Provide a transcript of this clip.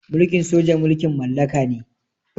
Mulkin soja mulkin mallaka ne.